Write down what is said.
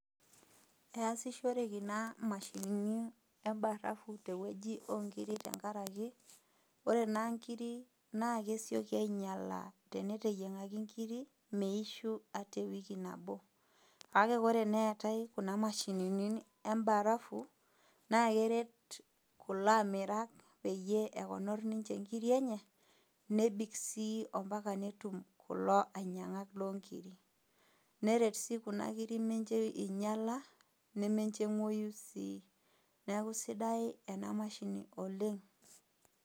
Easishorereki naa imashinini o barafu tewueji o nkiri tenkaraki, ore naa nkirik naa kesioki ainyala teneteyieng'aki inkiri, meishu hata ewiki nabo. Kake ore teneetai kuna mashinini embarafu, naa keret kulo amirak peyie ekonor ninche inkiri enye, nebik sii ombaka netum kulo ainyang'ak loo nkirik, neret sii kuna kiri mincho einyala nemencho eng'uoyu sii neaku sidai ena mashini oleng'.